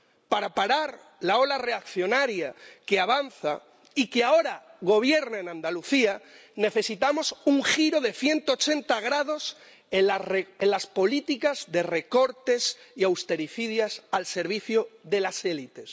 Para parar la ola reaccionaria que avanza, y que ahora gobierna en Andalucía, necesitamos un giro de 180 grados en las políticas austericidas y de recortes al servicio de las élites.